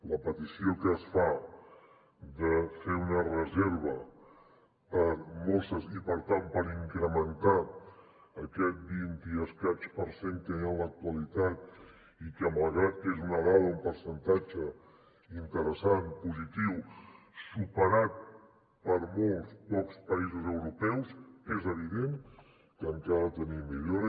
la petició que es fa de fer una reserva per a mosses i per tant per incrementar aquest vint i escaig per cent que hi ha a l’actualitat i que malgrat que és una dada un percentatge interessant positiu superat per molts pocs països europeus és evident que encara ha de tenir millora